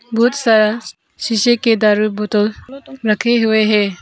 बहुत सारा शीशे का दारू बोतल रखे हुए हैं।